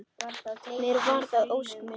Mér varð að ósk minni.